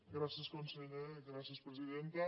gràcies conseller gràcies presidenta